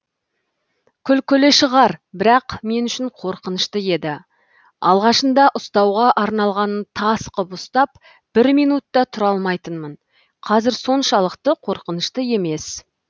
күлкілі шығар бірақ мен үшін қорқынышты еді алғашында ұстауға арналғанын тас қып ұстап бір минут та тұра алмайтынмын қазір соншалықты қорқынышты емес